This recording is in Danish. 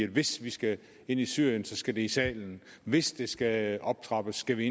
hvis vi skal ind i syrien skal det i salen hvis det skal optrappes skal